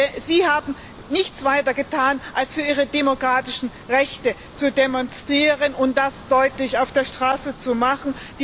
Denn sie haben nichts weiter getan, als für ihre demokratischen Rechte zu demonstrieren und das auf der Straße deutlich zu machen.